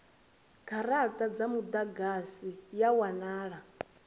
garata dza mudagasi ya wanala